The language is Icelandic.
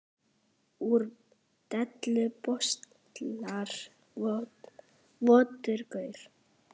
Úr dellu baslar votur gaur.